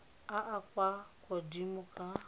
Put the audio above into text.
a a kwa godimo ka